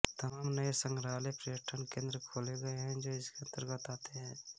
तमाम नए संग्रहालय व प्रयटन केंद्र खोले गये हैं जो इसके अंतर्गत आते हैं